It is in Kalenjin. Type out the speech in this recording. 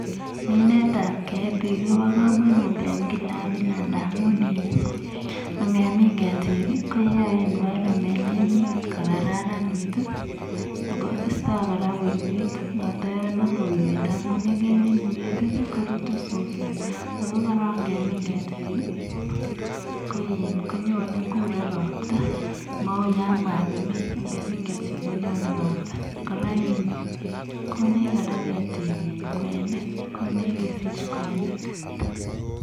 minet ab ketik ko bo kamanut amun ngemin ketik ko yaei environment kokaranit ak koistoi uiywet amun yamii uiywet korutun suswek ako yakakemin ketik kokuren robta mau yamakimin ketik konyone robta kora konech ketik konech kwenik. konech kesich kwenik